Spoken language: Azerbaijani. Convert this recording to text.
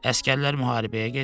Əsgərlər müharibəyə gedir.